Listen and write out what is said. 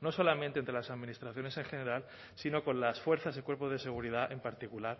no solamente entre las administraciones en general sino con las fuerzas y cuerpos de seguridad en particular